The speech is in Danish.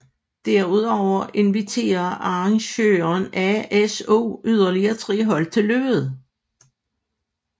Derudover inviterer arrangøren ASO yderlige tre hold til løbet